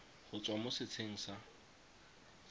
go tswa mo setsheng sa